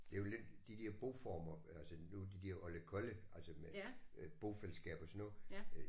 Det er jo lidt de der boformer altså nu de der oldekolle altså med bofælleskab og sådan noget øh